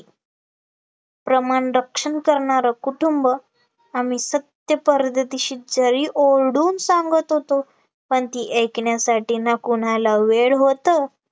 प्रमाणं रक्षण करणारं कुटुंब आम्ही सत्तेपर्यंदेशी जरी ओरडून सांगत होतो, पण ती ऐकण्यासाठी ना कोणाला वेळ होतो